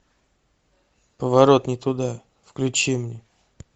поворот не туда включи мне